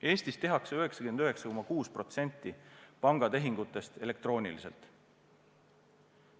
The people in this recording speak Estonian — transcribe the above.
Eestis tehakse 99,6% pangatehingutest elektrooniliselt.